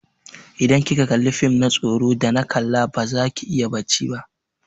Idan kika kalla fim na tsoro da na kalla baza ki iya bacci ba.